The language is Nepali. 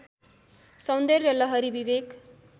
सौन्दर्य लहरी विवेक